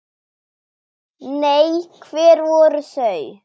Nei, hver voru þau?